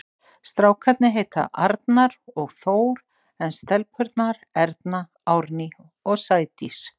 Strákarnir heita Arnar og Þór en stelpurnar Erna, Árný og Sædís.